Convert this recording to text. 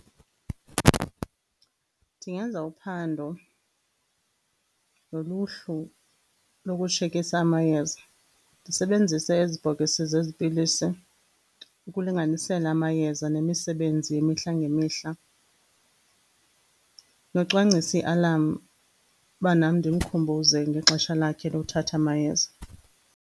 Ndingenza uphando noluhlu lokutshekisha amayeza. Ndisebenzise ezi bhokisi zezi pilisi ukulinganisela amayeza nemisebenzi yemihla ngemihla, nocwangcisa i-alarm ukuba nam ndimkhumbuze ngexesha lakhe lokuthatha amayeza.